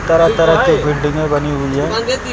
तरह तरह के बिल्डिंगें बनी हुई है।